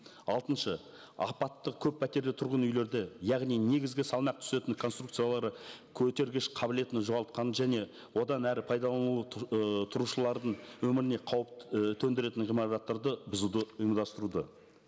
алтыншы апаттық көппәтерлі тұрғын үйлерді яғни негізгі салмақ түсетін конструкциялары көтергіш қабілетін жоғалтқанда және одан әрі пайдалануы ы тұрушылардың өміріне қауіп і төндіретін ғимараттарды бұзуды ұйымдастыруды